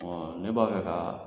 Ɔn ne b'a fɛ ka